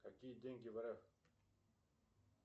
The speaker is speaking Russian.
какие деньги в рф